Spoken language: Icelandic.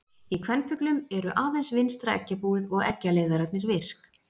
Í kvenfuglum eru aðeins vinstra eggjabúið og eggjaleiðararnir virk.